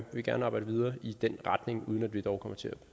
vil gerne arbejde videre i den retning uden at vi dog kommer til at